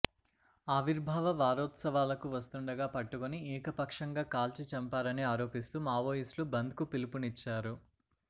ఆవిర్భావ వారోత్సవాలకు వస్తుండగా పట్టుకుని ఏకపక్షంగా కాల్చి చంపారని ఆరోపిస్తూ మావోయిస్ట్లు బంద్కు పిలుపునిచ్చారు